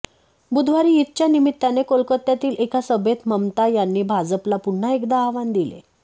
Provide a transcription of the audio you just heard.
बुधवारी ईदच्या निमित्ताने कोलकात्यातील एका सभेत ममता यांनी भाजपला पुन्हा एकदा आव्हान दिले